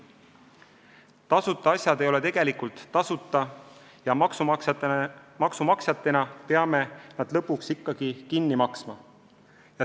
Tasuta asjad ei ole tegelikult tasuta ja maksumaksjatena peame need lõpuks ikkagi kinni maksma.